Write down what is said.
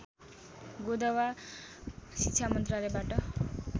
गोदवा शिक्षा मन्त्रालयबाट